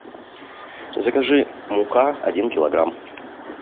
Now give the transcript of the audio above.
закажи мука один килограмм